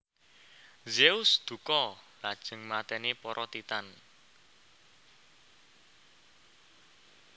Zeus dukha lajeng mateni para Titan